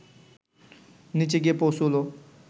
নিচে গিয়ে পৌঁছুলো